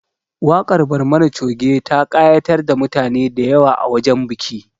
Waƙar Barmani Coge ta ƙayatar da mutane da yawa a wajen bikin